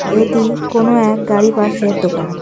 এটি কোনও এক গাড়ি পার্সের দোকান .